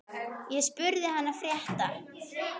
Ég spurði hana frétta.